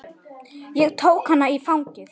Ég tók hana í fangið.